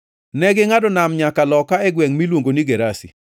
Negingʼado nam nyaka loka e gwengʼ miluongo ni Gerasi.